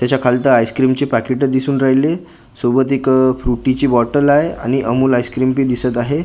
त्याच्या खालतं आईस्क्रीमची पाकीटं दिसून राहिली सोबत एक आह फ्रुटीची बॉटल आहे आणि अमूल आईस्क्रीम बी दिसत आहे अस--